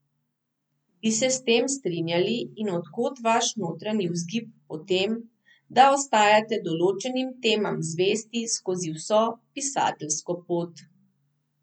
Bi se s tem strinjali in od kod vaš notranji vzgib po tem, da ostajate določenim temam zvesti skozi vso pisateljsko pot?